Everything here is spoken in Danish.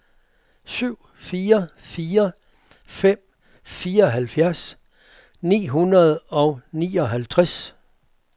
syv fire fire fem fireoghalvtreds ni hundrede og nioghalvtreds